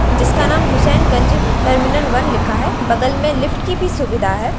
जिसका नाम Husainganj terminal one लिखा है बगल में लिफ्ट की भी सुविधा है।